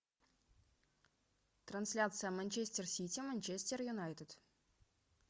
трансляция манчестер сити манчестер юнайтед